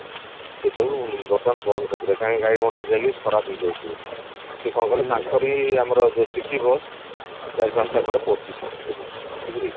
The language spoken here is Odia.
ସେଟାକୁ ବର୍ତମାନ ବନ୍ଦ କରିଦେଲେ କାହିଁକି ଗାଡି ମଟର ଯାଇକି ଖରାପ ହେଇଯାଉଛି ବୋଲି ସିଏ କଣ କଲେ ତାଙ୍କରି ଆମର ଯୋଉ city bus ଚାରି ପାଞ୍ଚଟା ଖଣ୍ଡେ ପଡିଛି ସିଏ ଭିତରେ ବୁଝିଲେ କି